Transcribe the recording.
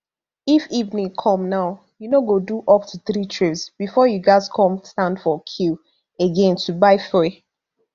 if evening come now you no go do up to three trips bifor you gatz come stand for queue again to buy fuel